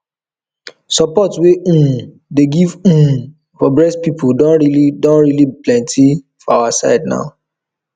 support wey people um dey get um for breast problem don really don really better for our side now